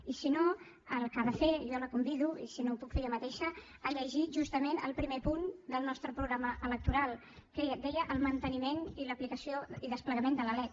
i si no el que ha de fer i jo la convido i si no ho puc fer jo mateixa a llegir justament el primer punt del nostre programa electoral que deia el manteniment i l’aplicació i desplegament de la lec